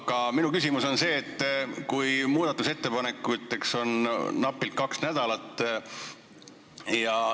Aga minu küsimus on see, et muudatusettepanekuteks on aega napilt kaks nädalat.